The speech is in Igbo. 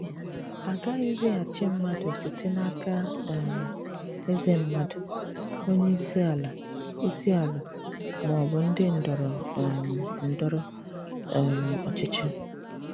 À gaghịzi àchì mmàdù site n'aka um èzè mmàdù, onye ìsì alà, ìsì alà, mà ọ̀ bụ̀ ndị ndọrọ um ndọrọ um òchìchì.